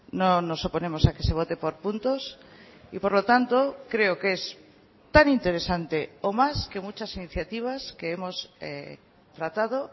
no nos oponemos a que se vote por puntos y por lo tanto creo que es tan interesante o más que muchas iniciativas que hemos tratado